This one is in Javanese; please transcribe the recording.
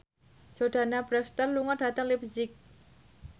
Jordana Brewster lunga dhateng leipzig